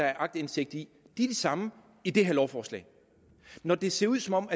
er aktindsigt i de samme i det her lovforslag når det ser ud som om